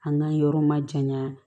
An ka yɔrɔ ma jaɲa